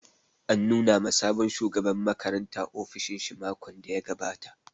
An nuna ma sabon shugaban makaranta ofishin shi makon da ya gabata